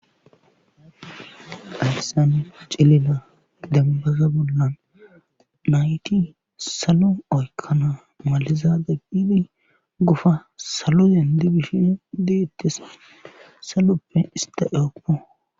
Hayssan pacaliza dembbaza bollan nayti salo oykkan maliza salo gufa salo denddi bishe deetees saloppe istta ehoppo.